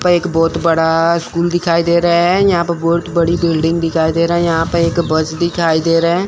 एक बहोत बड़ा स्कूल दिखाई दे रहा है यहां पे बहोत बड़ी बिल्डिंग दिखाई दे रहा है यहां पे एक बस दिखाई दे रहे --